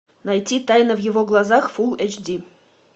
найти тайна в его глазах фулл эйч ди